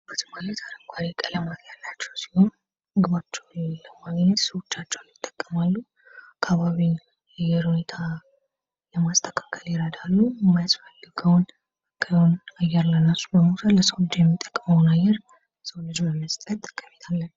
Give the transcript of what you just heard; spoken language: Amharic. እጽዋት ማለት እንግዲህ አረንጓዴ ቀለማት ያላቸው ሲሆኑ ምግባቸውን ለማግኘት ስሮቻቸውን ይጠቀማሉ አካባቢዎን ያየሩ ሁኔታ ለማስተካከል ይረዳሉ የሚያስፈልገውን አየር ለራሱ ለሚፈልግ ሰው የሚጠቅመውን አየር የሰው ልጅ ለመስጠት ጠቀሜታ አላቸው።